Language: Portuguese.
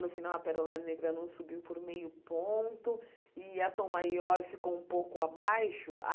No final, a Perola Negra não subiu por meio ponto e a Tom Maior ficou um pouco abaixo.